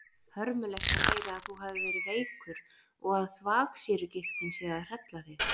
Hörmulegt að heyra að þú hafir verið veikur og að þvagsýrugigtin sé að hrella þig.